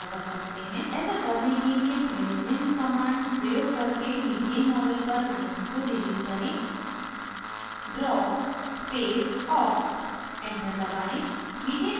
ऐसा करने के लिए पहले निम्न command प्रयोग करके methane model पर lines को डिलीट करें